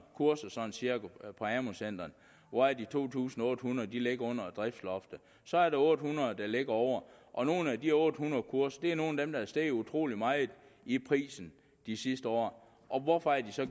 kurser på amu centrene hvoraf de to tusind otte hundrede ligger under prisloftet så er der otte hundrede der ligger over og nogle af de otte hundrede kurser er nogle af dem der er steget utrolig meget i pris de sidste år hvorfor er de så